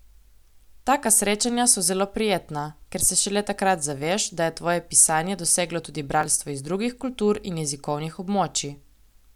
Taka srečanja so zelo prijetna, ker se šele takrat zaveš, da je tvoje pisanje doseglo tudi bralstvo iz drugih kultur in jezikovnih območij.